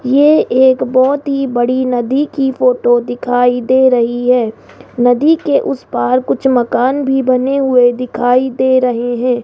ये एक बहुत ही बड़ी नदी की फोटो दिखाई दे रही है नदी के उस पार कुछ मकान भी बने हुए दिखाई दे रहे हैं।